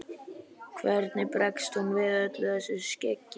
Hvernig bregst hún við öllu þessu skeggi?